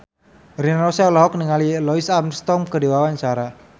Rina Nose olohok ningali Louis Armstrong keur diwawancara